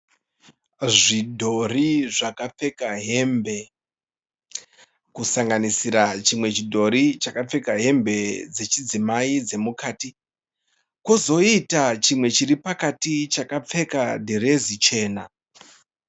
Zvidhori zvakapfeka hembe. Kusanganisira chimwe chidhori chakapfeka hembe dzechidzimai dzemukati. Kozoita chimwe chiri pakati chakapfeka dhiresi chena.